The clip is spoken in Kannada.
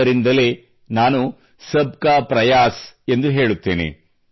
ಆದ್ದರಿಂದಲೇ ನಾನು ಸಬ್ ಕಾ ಪ್ರಯಾಸ್ ಎಂದು ಹೇಳುತ್ತೇನೆ